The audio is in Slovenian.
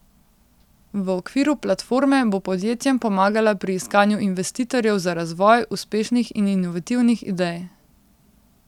V okviru platforme bo podjetjem pomagala pri iskanju investitorjev za razvoj uspešnih in inovativnih idej.